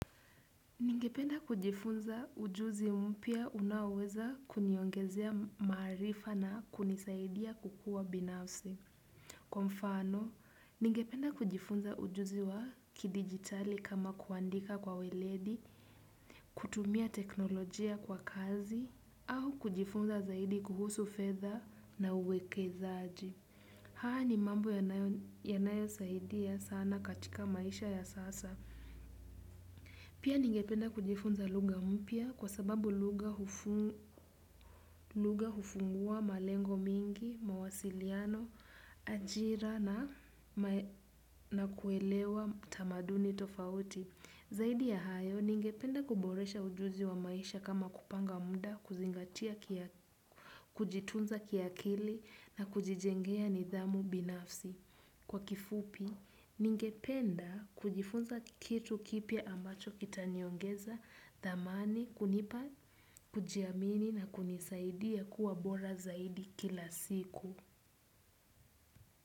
Ningependa kujifunza ujuzi mpya unaoweza kuniongezea maarifa na kunisaidia kukua binafsi. Kwa mfano, ningependa kujifunza ujuzi wa kidigitali kama kuandika kwa weledi, kutumia teknolojia kwa kazi, au kujifunza zaidi kuhusu fetha na uweke zaaji. Haa ni mambo ya nayo saidi ya sana katika maisha ya sasa. Pia ningependa kujifunza lugha mpya kwa sababu lugha hufungua malengo mingi, mawasiliano, ajira na kuelewa tamaduni tofauti. Zaidi ya hayo ningependa kuboresha ujuzi wa maisha kama kupanga mda, kuzingatia kujitunza kiakili na kujijengea nidhamu binafsi. Kwa kifupi, ningependa kujifunza kitu kipya ambacho kitaniongeza thamani kunipa, kujiamini na kunisaidia kuwa bora zaidi kila siku.